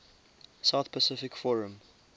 south pacific forum